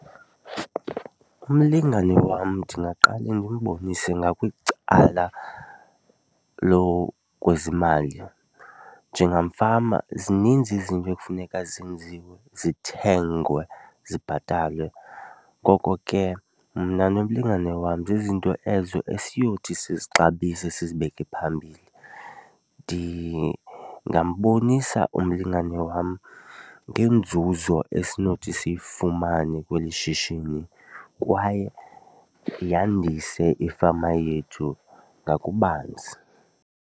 Umlingane wam ndingaqale ndimbonise ngakwicala lokwezimali. Njengamfama zininzi izinto ekufuneka zenziwe, zithengwe, zibhatalwe, ngoko ke mna nomlingane wam zizinto ezo esiyothi sizixabise sizibeke phambili. Ndingambonisa umlingane wam ngenzuzo esinothi siyifumane kweli shishini kwaye yandise ifama yethu ngakubanzi.